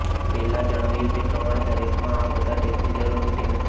પહેલા જણાવ્યું તે પ્રમાણે દરેકમાં આ બધા ટેસ્ટની જરૂર હોતી નથી